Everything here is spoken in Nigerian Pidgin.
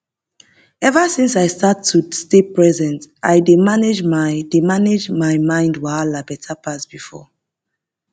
ever since i start to dey stay present i dey manage my dey manage my mind wahala better pass before